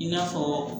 I n'a fɔ